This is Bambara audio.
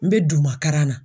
N be duumakaran na